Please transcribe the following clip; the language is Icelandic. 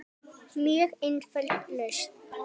Mjög einföld lausn.